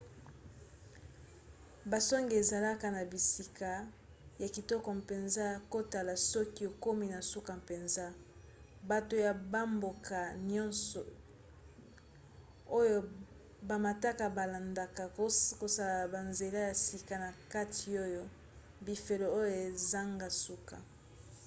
basonge ezalaka na bisika ya kitoko mpenza ya kotala soki okomi na suka mpenza. bato ya bamboka nyonso oyo bamataka balandaka kosala banzela ya sika na kati oyo bifelo oyo ezanga suka